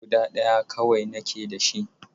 Guda ɗaya kawai nake da shi.